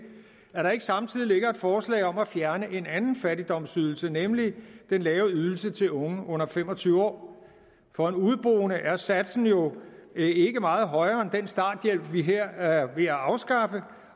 at der ikke samtidig ligger et forslag om at fjerne en anden fattigdomsydelse nemlig den lave ydelse til unge under fem og tyve år for en udeboende er satsen jo ikke meget højere end den starthjælp vi her er ved at afskaffe